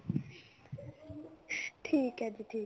ਠੀਕ ਹੈ ਜੀ ਠੀਕ